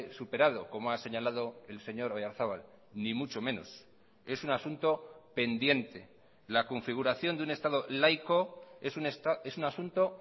superado como ha señalado el señor oyarzabal ni mucho menos es un asunto pendiente la configuración de un estado laico es un asunto